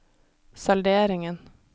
salderingen